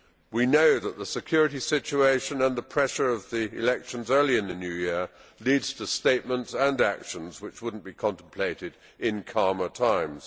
We know that the security situation and the pressure of the elections early in the New Year led to statements and actions which would not be contemplated in calmer times.